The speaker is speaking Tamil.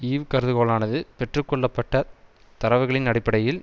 ஈவ் கருதுகோளானது பெற்று கொள்ளப்பட்ட தரவுகளின் அடிப்படையில்